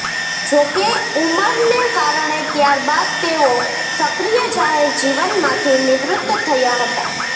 જો કે ઉંમરને કારણે ત્યારબાદ તેઓ સક્રિય જાહેર જીવનમાંથી નિવૃત થયા હતા